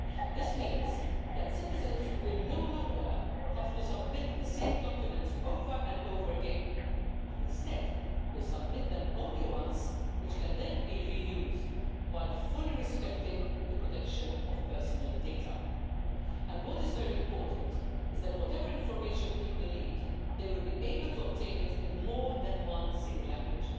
This means that citizens will no longer have to submit the same documents over and over again, but instead will submit them only once, and they can then be reused, while fully respecting the protection of personal data. And what is very important is that, whatever information people need, they will be able to obtain it in more than a single language.